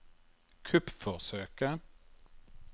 kuppforsøket